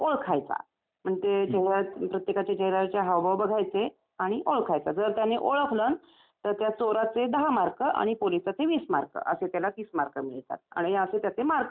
म्हणजे तेव्हा प्रत्येकाच्या चेहर् यावरचे हावभाव बघायचे आणि ओळखायचं जर त्याने ओळखलं तर त्या चोराचे दहा मार्क आणि पोलिसाचे वीस मार्क असे त्याला तीस मार्क मिळतात आणि असे त्याचे मार्क वाढत जातात.